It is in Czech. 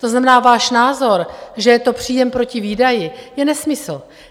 To znamená, váš názor, že je to příjem proti výdaji, je nesmysl.